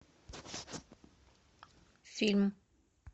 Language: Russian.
фильм